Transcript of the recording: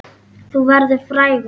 Þú verður frægur!